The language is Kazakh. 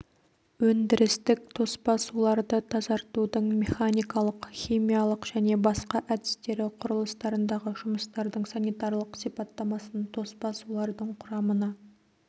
өндірістік тоспа суларды тазартудың механикалық химиялық және басқа әдістері құрылыстарындағы жұмыстардың санитарлық сипаттамасын тоспа сулардың құрамына